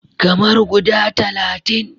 Kamar guda talatin.